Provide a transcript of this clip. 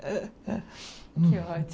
Que ótimo.